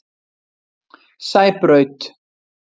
Sæbraut